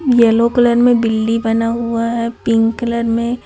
yellow colour में बिल्ली बना हुआ है पिंक कलर में--